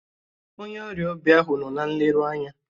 Onye ọrịa obi ahụ nọ na nleru anya.